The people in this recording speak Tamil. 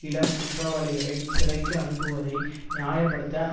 இளம் குற்றவாளிகளைச் சிறைக்கு அனுப்புவதை நியாய படுத்த